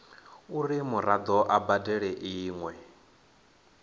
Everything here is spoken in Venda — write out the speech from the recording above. uri muraḓo a badele iṅwe